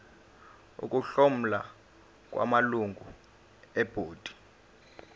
ukuhlomula kwamalungu ebhodi